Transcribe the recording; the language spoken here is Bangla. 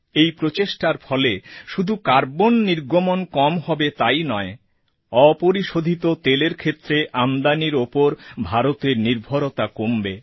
এই প্রচেষ্টার ফলে শুধু কার্বন নির্গমণ কম হবে তাই নয় অপরিশোধিত তেলের ক্ষেত্রে আমদানির উপর ভারতের নির্ভরতা কমবে